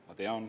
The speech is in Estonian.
Ma tean.